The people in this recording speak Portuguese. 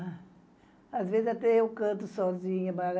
Às vezes, até eu canto sozinha.